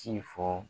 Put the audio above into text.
Ci fɔ